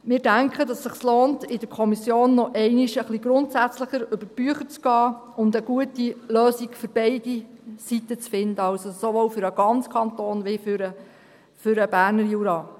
Wir denken, dass es sich lohnt, in der Kommission nochmals etwas grundsätzlicher über die Bücher zu gehen und eine gute Lösung für beide Seiten zu finden – sowohl für den ganzen Kanton als auch für den Berner Jura.